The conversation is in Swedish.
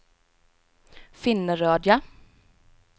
Finnerödja